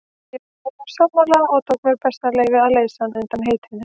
Ég var honum sammála og tók mér það bessaleyfi að leysa hann undan heitinu.